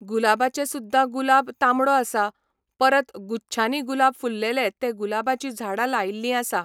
गुलाबाचें सुद्दां गुलाब तांबडो आसा, परत गुच्छानी गुलाब फुल्लेले ते गुलाबाचीं झाडां लायल्लीं आसा.